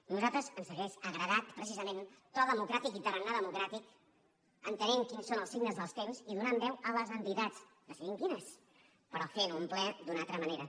a nosaltres ens hauria agradat precisament to democràtic i tarannà democràtic entenent quins són els signes dels temps i donant veu a les entitats decidint quines però fent un ple d’una altra manera